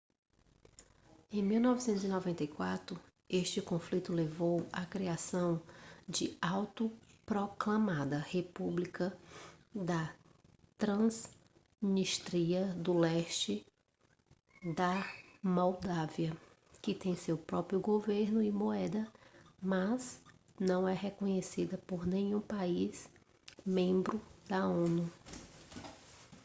em 1994 este conflito levou à criação da autoproclamada república da transnístria no leste da moldávia que tem seu próprio governo e moeda mas não é reconhecida por nenhum país membro da onu